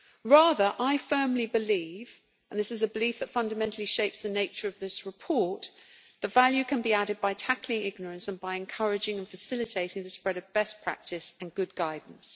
Rather, I firmly believe and this is a belief that fundamentally shapes the nature of this report that value can be added by tackling ignorance and by encouraging and facilitating the spread of best practice and good guidance.